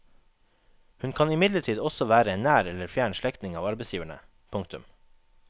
Hun kan imidlertid også være en nær eller fjern slektning av arbeidsgiverne. punktum